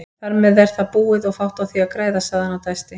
Þarmeð er það búið og fátt á því að græða, sagði hann og dæsti.